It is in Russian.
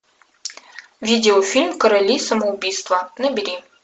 видео фильм короли самоубийства набери